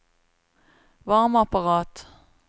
varmeapparat